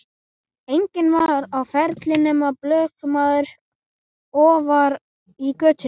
Enginn var á ferli nema blökkumaður ofar í götunni.